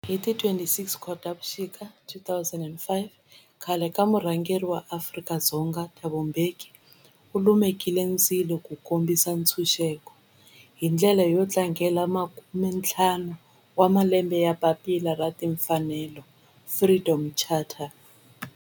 Hi ti 26 Khotavuxika 2005 khale ka murhangeri wa Afrika-Dzonga Thabo Mbeki u lumekile ndzilo wo kombisa ntshuxeko, hi ndlela yo tlangela makumentlhanu wa malembe ya papila ra timfanelo, Freedom Charter.